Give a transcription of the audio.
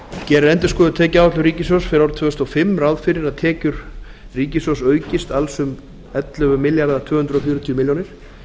gerir endurskoðuð tekjuáætlun ríkissjóðs fyrir árið tvö þúsund og fimm ráð fyrir að tekjur ríkissjóðs aukist alls um ellefu þúsund tvö hundruð fjörutíu milljónir